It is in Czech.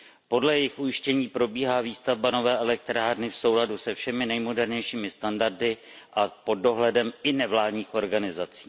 Podle jejich ujištění probíhá výstavba nové elektrárny v souladu se všemi nejmodernějšími standardy a pod dohledem i nevládních organizací.